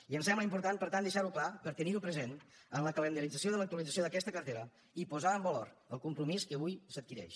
i em sembla important per tant deixar ho clar per tenir ho present en la calendarització de l’actualització d’aquesta cartera i posar en valor el compromís que avui s’adquireix